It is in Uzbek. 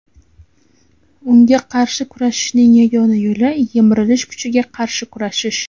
Unga qarshi kurashishning yagona yo‘li yemirilish kuchiga qarshi kurashish.